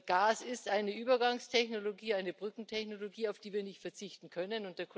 Gas ist eine Übergangstechnologie, eine Brückentechnologie, auf die wir nicht verzichten können.